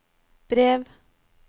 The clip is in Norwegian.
brev